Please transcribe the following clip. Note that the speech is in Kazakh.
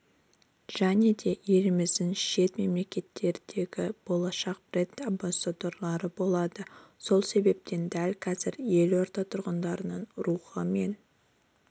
және еліміздің шет мемлекеттердегі болашақ бренд-амбассадорлары болады сол себепті дәл қазір елорда тұрғынының рухы мен